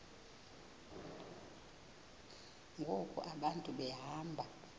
ngoku abantu behamba